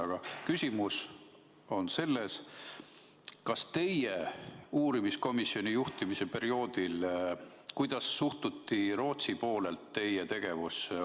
Aga küsimus on selles, kuidas teie uurimiskomisjoni juhtimise perioodil Rootsi poolel teie tegevusse suhtuti.